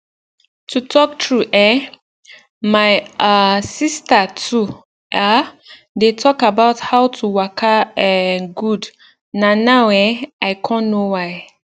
to talk true eh my um sister too um dey talk about how to waka um gud na now eh i con know why